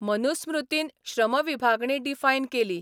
मनुस्मृतीन श्रमविभागणी डिफायन केली.